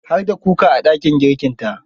Har da kuka a dakin girkinta.